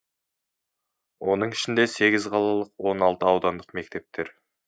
оның ішінде сегіз қалалық он алты аудандық мектептер